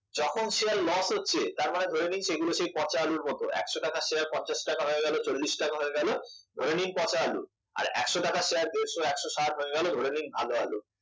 যখন share loss হচ্ছে তারমানে ধরে নিন সেগুলো সেই পচা আলুর মতো একশ টাকার শেয়ার পঞ্চাশ টাকা হয়ে গেল চল্লিশ টাকা হয়ে গেল ধরে নিন পচা আলু আর একশ টাকার শেয়ার দেড়শ একশ ষাট হয়ে গেল ধরে নিন ভালো আলু